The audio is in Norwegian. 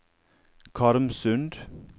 Karmsund